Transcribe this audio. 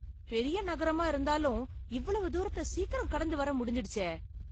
பெரிய நகரமா இருந்தாலும் இவ்வளவு தூரத்த சீக்கிரம் கடந்து வர முடிஞ்சிடுச்சே!